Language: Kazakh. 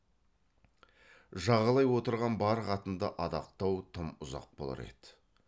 жағалай отырған бар қатынды адақтау тым ұзақ болар еді